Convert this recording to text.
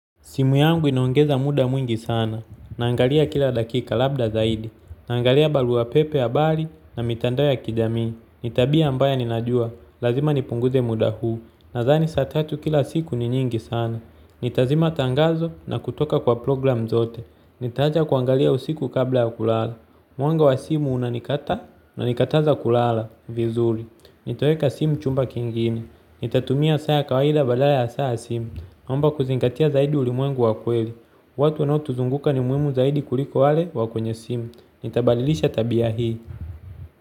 Simu yangu ina ongeza muda mwingi sana, naangalia kila dakika labda zaidi, naangalia barua pepe habari na mitandao ya kijamii. Nitabia ambayo ninajua, lazima nipunguze muda huu, nadhani saa tatu kila siku ni nyingi sana. Nitazima tangazo na kutoka kwa programu zote, nitaacha kuangalia usiku kabla ya kulala. Mwanga wa simu unanikata na nikataza kulala, vizuri. Nitoweka simu chumba kingine, nitatumia saa ya kawaida badala ya saa ya simu naomba kuzingatia zaidi ulimwengu wa kweli. Watu wanaotuzunguka ni muhumu zaidi kuliko wale wa kwenye simu. Nitabadilisha tabia hii.